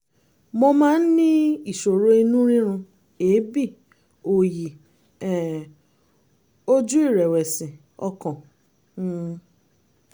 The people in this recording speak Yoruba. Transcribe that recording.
mo máa ń ní ìṣòro inú rírun èébì òòyì um ojú ìrẹ̀wẹ̀sì ọkàn um